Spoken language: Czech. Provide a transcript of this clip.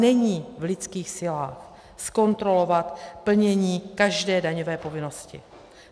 Není v lidských silách zkontrolovat plnění každé daňové povinnosti.